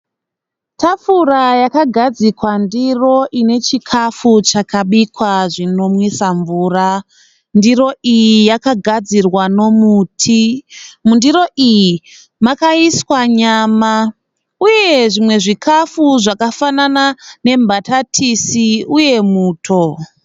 Tafura yakadzikwa ndiro inechikafu chakabikwa zvinomwisa mvura. Ndiro iyi yakagadzirwa nomuti. Mundiro iyi makaiswa nyama uye zvimwe zvikafu zvakafanana nembatatisi uye muto.